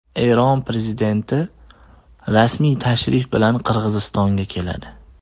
Eron prezidenti rasmiy tashrif bilan Qirg‘izistonga keladi.